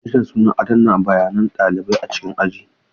Rajistas suna adana bayanan ɗalibai a cikin aji.